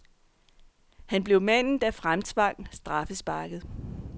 Han blev manden, der fremtvang straffesparket.